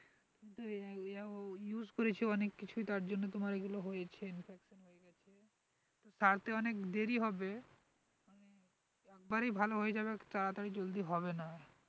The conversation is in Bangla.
এরাম এরাম use করেছঅনেক কিছুই তার জন্য তোমার এইগুলো হয়েছে সারতে অনেক দেরি হবে একেবারেই ভালো হয়ে যাবে তাড়াতাড়ি জলদি হবে না